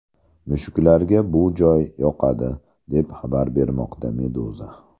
Mushuklarga bu juda yoqadi, deb xabar bermoqda Meduza.